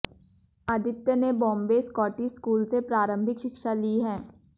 आदित्य ने Bombay Scottish school से प्रारंभिक शिक्षा ली है